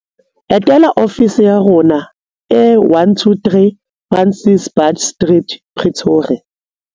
Etela ofisi ya rona e 123 Francis Baard Street, Pretoria.